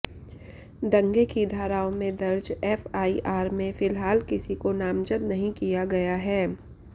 दंगे की धाराओं में दर्ज एफआईआर में फिलहाल किसी को नामजद नहीं किया गया है